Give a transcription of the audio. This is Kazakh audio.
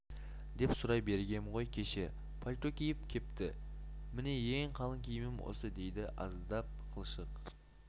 деп сұрай бергем ғой кеше пальто киіп кепті міне ең қалың киімім осы дейді аздап қылшық